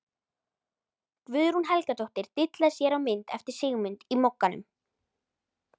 Guðrún Helgadóttir dillar sér á mynd eftir Sigmund í Mogganum.